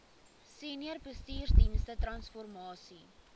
senior bestuursdienste transformasie